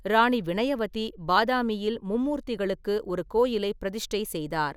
ராணி வினயவதி பாதாமியில் மும்மூர்த்திகளுக்கு ஒரு கோயிலை பிரதிஷ்டை செய்தார்.